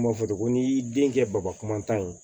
Kuma fɔcogo n'i y'i den kɛ baba kuma tan ye